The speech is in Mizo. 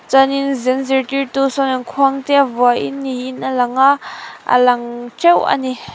chuanin zen zirtirtu sawn khuang te a vuain niin a lang a a lang teuh a ni.